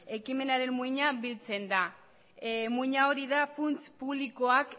ekimenaren muina biltzen da muina hori da funts publikoak